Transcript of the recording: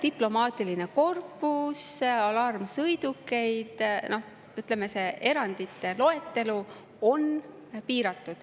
Diplomaatiline korpus, alarmsõidukid – ütleme, see erandite loetelu on piiratud.